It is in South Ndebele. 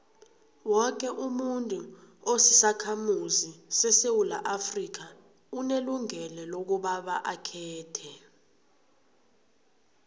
woke umuntu osisakhamuzi sesewula afrika unelungelo lokobaba akhethe